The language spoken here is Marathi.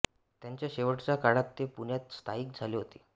त्यांच्या शेवटच्या काळात ते पुण्यात स्थायिक झाले होते